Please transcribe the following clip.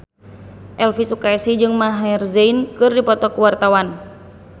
Elvy Sukaesih jeung Maher Zein keur dipoto ku wartawan